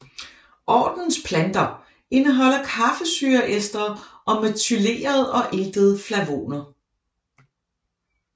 Ordenens planter indeholder kaffesyreestre og methylerede og iltede flavoner